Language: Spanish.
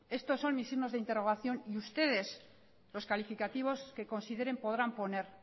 estos son mis signos de interrogación y ustedes los calificativos que consideren podrán poner